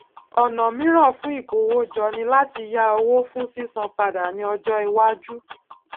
ònà míràn fún ìkówójọ ni láti yá owó fún sísan padà ní ọjó iwájú